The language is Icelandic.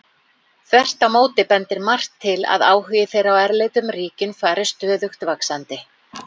Þvert á móti bendir margt til að áhugi þeirra á erlendum ríkjum fari stöðugt vaxandi.